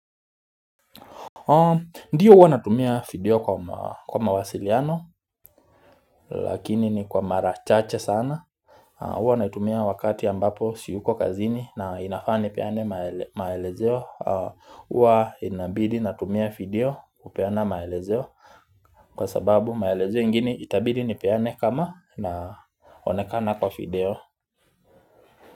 Ndiyo huwa natumia video kwa mawasiliano lakini ni kwa mara chache sana huwa naitumia wakati ambapo siyuko kazini na inafaa nipeane maelezeo Uwa inabidi natumia video kupeana maelezeo Kwa sababu maelezeo ingini itabidi ni peane kama naonekana kwa video.